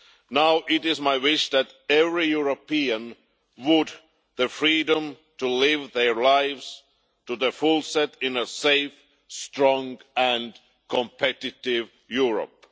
Now it is my wish that every European has the freedom to live their lives to the fullest in a safe, strong and competitive Europe.